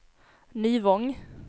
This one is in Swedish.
Nyvång